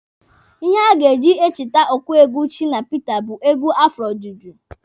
Ihe a ga-eji echete ọkụ egwu Shina Pita bụ egwu afro juju.